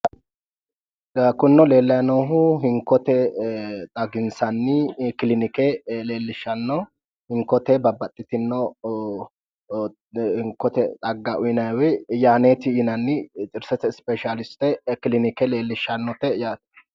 kunino leellayi noohu hinkote xaginsanni kilinke leellishshanno hinkote babbaxxitinno xagga uyiinanni yaneeti yinannite xirsete speeshaaliste kilinikeeti yaate